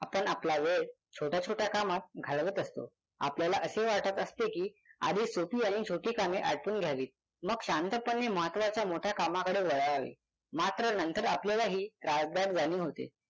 आपण आपला वेळ छोट्या छोट्या कामत घालवत असतो आपल्याला असे वाटत असते कि आधी सोपी आणि छोटी कामे आटपून घ्यावी मग शांतपणे महत्त्वाच्या मोठ्या कामाकडे वळावे. मात्र नंतर आपल्यालाही त्रास्दायक जाणीव होते.